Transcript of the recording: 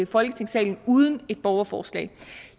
folketingssalen uden et borgerforslag